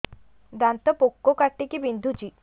ଦାନ୍ତ ପୋକ କାଟିକି ବିନ୍ଧୁଛି